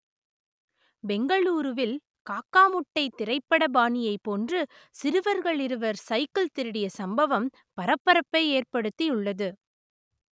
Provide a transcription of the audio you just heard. பெங்களூருவில் காக்கா முட்டை திரைப்பட பாணியைப் போன்று சிறுவர்கள் இருவர்கள் சைக்கிள் திருடிய சம்பவம் பரபரப்பை ஏற்படுத்தி உள்ளது